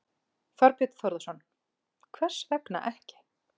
Þorbjörn Þórðarson: Hvers vegna ekki?